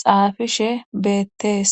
xaafishe beettees